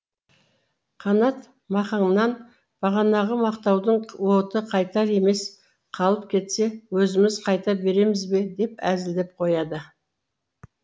қанат махаңнан бағанағы мақтаудың уыты қайтар емес қалып кетсе өзіміз қайта береміз бе деп әзілдеп қояды